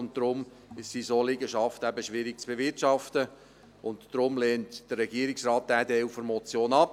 Deshalb sind solche Liegenschaften eben schwierig zu bewirtschaften, und deshalb lehnt der Regierungsrat diesen Teil der Motion ab.